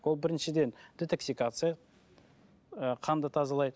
ол біріншіден детоксикация ы қанды тазалайды